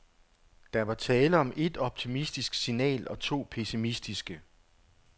Der var tale om et optimistisk signal og to pessimistiske.